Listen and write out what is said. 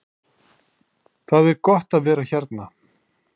Það er gott að vera hérna.